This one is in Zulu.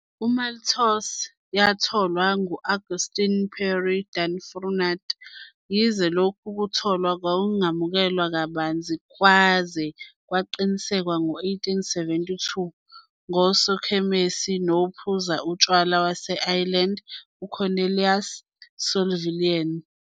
IMaltose 'yatholwa' ngu-Augustin-Pierre Dubrunfaut, yize lokhu kutholwa kwakungamukelwa kabanzi kwaze kwaqinisekiswa ngo-1872 ngusokhemisi nophuza utshwala wase-Ireland uCornelius O'Sullivan.